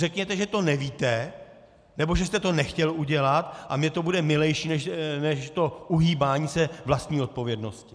Řekněte, že to nevíte, nebo že jste to nechtěl udělat, a mně to bude milejší než to uhýbání se vlastní odpovědnosti.